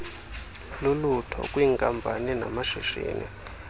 lulutho kwiinkampani namashishini